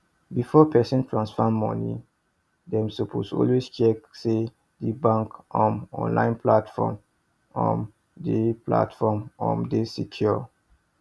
before person transfer money dem suppose always check say di bank um online platform um dey platform um dey secure